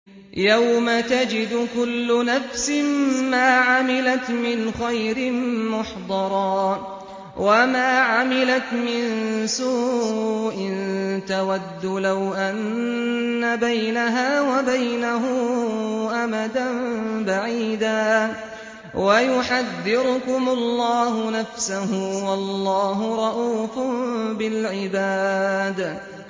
يَوْمَ تَجِدُ كُلُّ نَفْسٍ مَّا عَمِلَتْ مِنْ خَيْرٍ مُّحْضَرًا وَمَا عَمِلَتْ مِن سُوءٍ تَوَدُّ لَوْ أَنَّ بَيْنَهَا وَبَيْنَهُ أَمَدًا بَعِيدًا ۗ وَيُحَذِّرُكُمُ اللَّهُ نَفْسَهُ ۗ وَاللَّهُ رَءُوفٌ بِالْعِبَادِ